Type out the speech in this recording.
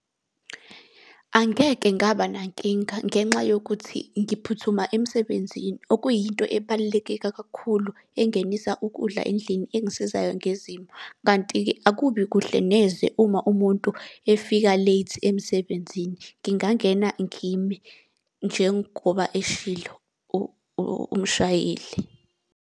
Angeke ngaba nankinga, ngenxa yokuthi ngiphuthuma emsebenzini, okuyinto ebalulekeka kakhulu engenisa ukudla endlini engisizayo ngezimo. Kanti-ke akubi kuhle neze uma umuntu efika late emsebenzini. Ngingangena ngime njengoba eshilo umshayeli.